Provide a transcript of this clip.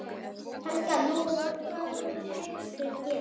Helga: Nú, hvað hyggstu gera?